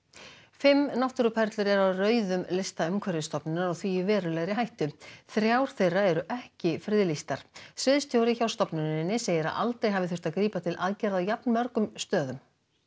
fimm náttúruperlur eru á rauðum lista Umhverfisstofnunar og því í verulegri hættu þrjár þeirra eru ekki friðlýstar sviðsstjóri hjá stofnuninni segir að aldrei hafi þurft að grípa til aðgerða á jafn mörgum stöðum